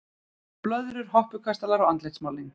Blöðrur, hoppukastalar og andlitsmálning.